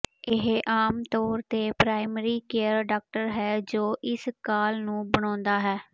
ਇਹ ਆਮ ਤੌਰ ਤੇ ਪ੍ਰਾਇਮਰੀ ਕੇਅਰ ਡਾਕਟਰ ਹੈ ਜੋ ਇਸ ਕਾਲ ਨੂੰ ਬਣਾਉਂਦਾ ਹੈ